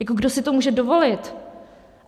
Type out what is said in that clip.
Jako kdo si to může dovolit?